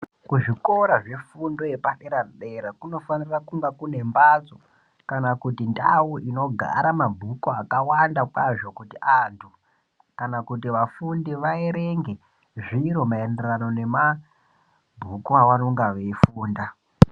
Kuzvikora zvepaderadera kunofanirwa kunge kune mbatso ,kana kuti ndau inogara mabhuku akawanda kwazvo. Kuti antu aerenge zviro maererano nemabhuku vaanonga veifunda.